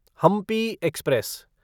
Hampi express